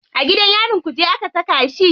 A gidan yarin kuje aka saka shi.